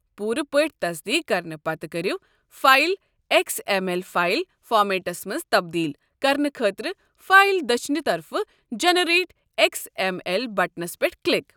پوُرٕ پٲٹھۍ تَصدیٖق کَرنہٕ پتہٕ کٔرِو file X M L file فارمیٹَس مَنٛز تبدیل كرنہٕ خٲطرٕ فایلہِ دٔچھنہِ طرفہٕ جیٚنٕریٹ ایکس ایم ایل بٹنَس پٮ۪ٹھ کِلک۔